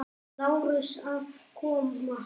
Lárusi að koma.